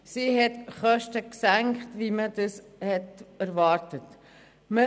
Sie hat Kosten gesenkt, wie das erwartet wurde.